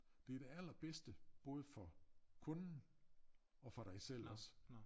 Det det allerbedste både for kunden og for dig selv også